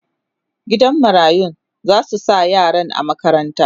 gidan marayun zasu sa yaran a makaranta